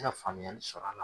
I ya faamuyali sɔrɔ a la